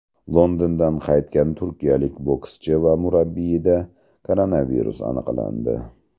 Londondan qaytgan turkiyalik bokschi va murabbiyda koronavirus aniqlandi.